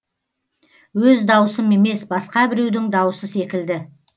өз даусым емес басқа біреудің даусы секілді